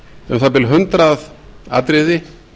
um það bil hundrað atriði